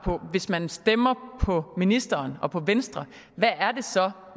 hvis man stemmer på ministeren og på venstre hvad er det så